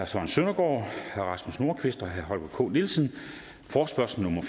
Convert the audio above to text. søren søndergaard rasmus nordqvist og holger k nielsen forespørgsel nummer